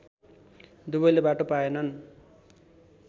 दुवैले बाटो पाएनन्